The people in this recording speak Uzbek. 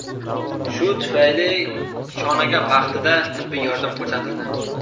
Shu tufayli Shonaga vaqtida tibbiy yordam ko‘rsatildi.